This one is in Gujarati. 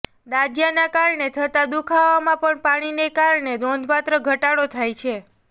દાઝયાને કારણે થતા દુખાવામાં પણ પાણીને કારણે નોંઘપાત્ર ઘટાડો થાય છે